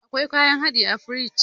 Akwai kayan hadin a firingi